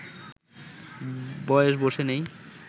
বয়স বসে নেই